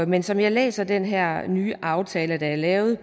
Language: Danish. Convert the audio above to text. men som jeg læser den her nye aftale der er lavet